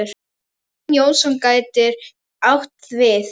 Jón Jónsson getur átt við